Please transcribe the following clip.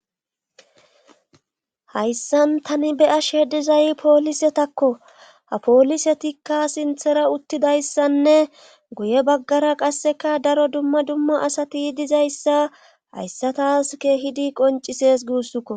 Hayssan tani be ash hedizay poolisetakko ha poolisetikka sinthera uttidayssanne guye baggara qasseka daro dumma dumma asati dizayssa hayssatas keehidi qoncises guussukko